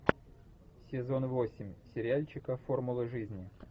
сезон восемь сериальчика формула жизни